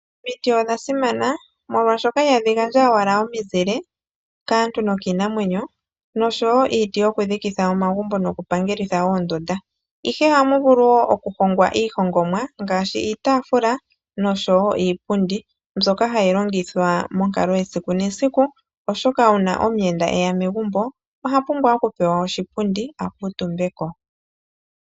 Omiti odha simana molwaashoka ihadhi gandja owala omizile kaantu nokiinamwenyo noshowo iiti yokudhikitha omagumbo nokupangelitha oondunda, ihe ohamu vulu woo okuhongwa iihongomwa ngaashi iitaafula noshowo iipundi, mbyoka hayi longithwa monkalo yesikunesiku oshoka uuna omuyenda eya megumbo ohapumbwa okupewa oshipundi akuutumbeko.